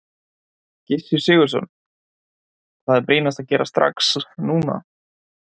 Gissur Sigurðsson: Hvað er brýnast að gera strax núna?